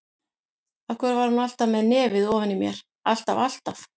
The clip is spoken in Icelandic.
Af hverju var hún alltaf með nefið ofan í mér, alltaf, alltaf.